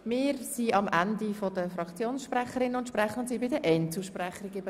Wir sind am Ende der Fraktionssprecherinnen und -sprecher und kommen nun zu den Einzelsprechenden.